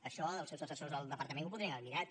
això els seus assessors al departament ho podien haver mirat